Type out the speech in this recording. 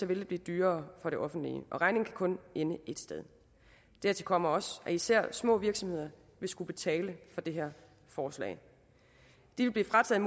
vil det blive dyrere for det offentlige og regningen kan kun ende ét sted dertil kommer også at især små virksomheder vil skulle betale for det her forslag de vil blive frataget